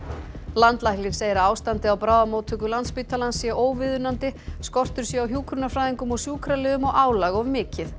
landlæknir segir að ástandið á bráðamóttöku Landspítalans sé óviðunandi skortur sé á hjúkrunarfræðingum og sjúkraliðum og álag of mikið